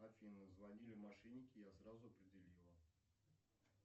афина звонили мошенники я сразу определила